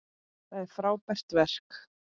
Það er frábært verk.